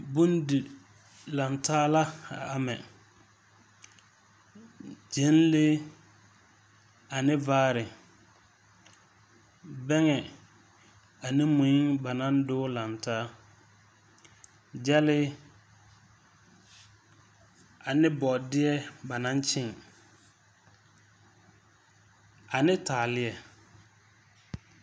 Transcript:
Bondi-lantaa la a ama. Gyɛnlee, ane vaare. Bɛŋɛ, ane mui ba naŋ doge laŋ taa. Gyɛlee, ane bɔɔdeɛ ba naŋ kyẽẽ. Ane taaleɛ.